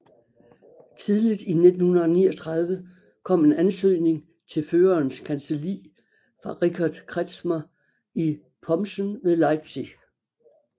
Tidligt i 1939 kom en ansøgning til Førerens kancelli fra Richard Kretschmar i Pomssen ved Leipzig